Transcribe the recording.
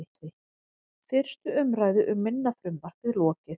Fyrstu umræðu um minna frumvarpið lokið